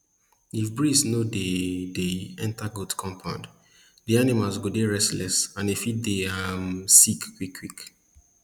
if breeze no dey dey enter goat compound di animals go dey restless and fit dey um sick quick quick